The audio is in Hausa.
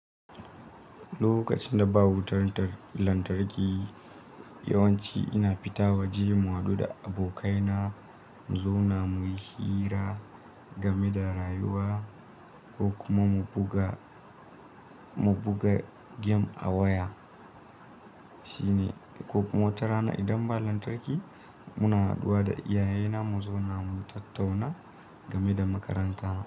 Lokacin da ba wutan tar lantarki, yawanci ina fita waje mu haɗu da abokaina, mu zauna muyi hira game da rayuwa ko kuma mu buga, mu buga game a waya. Shine ko kuma watarana idan ba lantarki, muna haɗuwa da iyayena mu zauna mu tattauna game da makaranta.